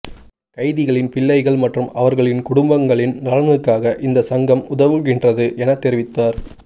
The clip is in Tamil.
கைதிகளின் பிள்ளைகள் மற்றும் அவர்களின் குடும்பங்களின் நலனுக்காக இந்த சங்கம் உதவுகின்றது என தெரிவித்தார்